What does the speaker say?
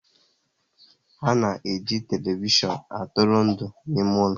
Ha na eji televishion atụrụ ndụ n'ime ụlọ